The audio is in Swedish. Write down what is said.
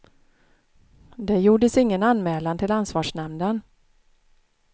Det gjordes ingen anmälan till ansvarsnämnden.